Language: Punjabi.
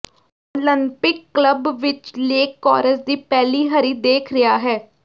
ਓਲੰਪਿਕ ਕਲੱਬ ਵਿਚ ਲੇਕ ਕੋਰਸ ਦੀ ਪਹਿਲੀ ਹਰੀ ਦੇਖ ਰਿਹਾ ਹੈ